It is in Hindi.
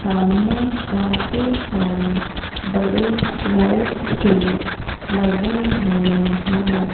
सामने काफी सारे बड़े लाइट्स भी लगे हुए है।